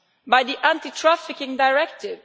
by the Anti Trafficking Directive.